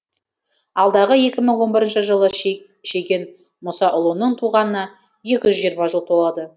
алдағы екі мың он бірінші жылы шеген мұсаұлының туғанына екі жүз жиырма жыл толады